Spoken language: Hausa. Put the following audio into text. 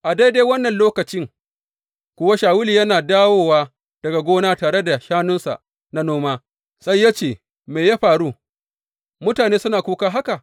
A daidai wannan lokacin kuwa Shawulu yana dawowa daga gona tare da shanunsa na noma, sai ya ce, Me ya faru, mutane suna kuka haka?